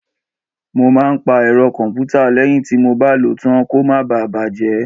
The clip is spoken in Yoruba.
Mọ máa ń pa ẹ̀rọ kọ̀m̀pútà lẹ́yìn tí mọ bá lò ó tán kó má bà á bàjẹ́.